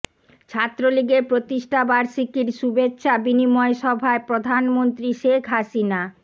ছাত্রলীগের প্রতিষ্ঠা বাষির্কীর শুভেচ্ছা বিনিময় সভায় প্রধানমন্ত্রী শেখ হাসিনা